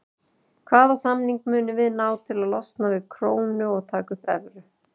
Hvaða samning munum við ná til að losna við krónu og taka upp evru?